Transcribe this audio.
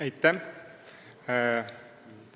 Aitäh!